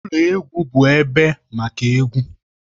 Ụlọ egwu bụ ebe maka egwu.